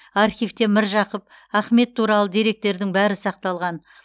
архивте міржақып ахмет туралы деректердің бәрі сақталған